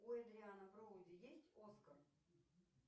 у эдриана броуди есть оскар